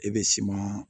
E be siman